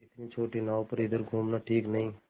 इतनी छोटी नाव पर इधर घूमना ठीक नहीं